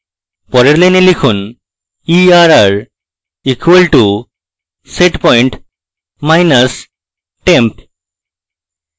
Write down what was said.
পরের line লিখুন: err equal to setpoint minus temp